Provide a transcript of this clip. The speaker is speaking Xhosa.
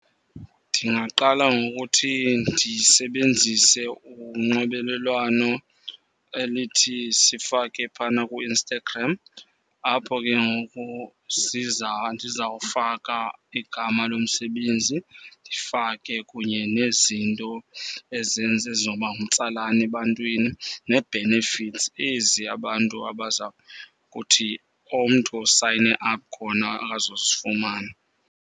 Ndingaqala ngokuthi ndisebenzise unxibelelwano elithi sifake phana kuInstagram. Apho ke ngoku ndizawufaka igama lomsebenzi, ndifake kunye nezinto ezenza, ezizoba ngumtsalane ebantwini nee-benefits ezi abantu abaza kuthi umntu osayine khona azozifumana.